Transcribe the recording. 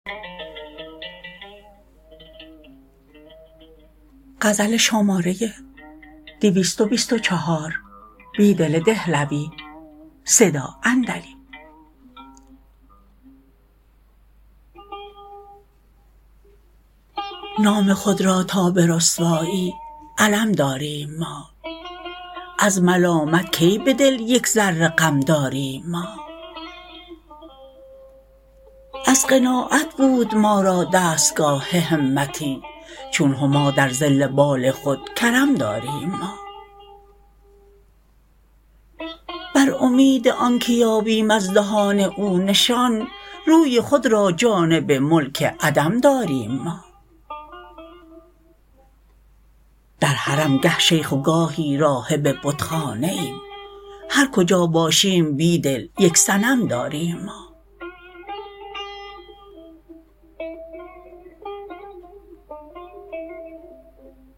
نام خود را تا به رسوایی علم داریم ما از ملامت کی به دل یک ذره غم داریم ما از قناعت بود ما را دستگاه همتی چون هما در ظل بال خودکرم داریم ما بر امید آنکه یابیم از دهان او نشان روی خود را جانب ملک عدم داریم ما در حرم گه شیخ وگاهی راهب بتخانه ایم هرکجا باشیم بیدل یک صنم داریم ما